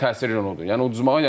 Mənə təsir eləyən odur.